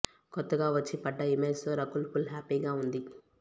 కొత్తగా వచ్చి పడ్డ ఇమేజ్ తో రకుల్ ఫుల్ హ్యాపీగా ఉంది